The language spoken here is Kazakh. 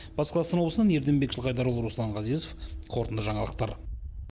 батыс қазақстан облысынан ерденбек жылқайдарұлы руслан ғазезов қорытынды жаңалықтар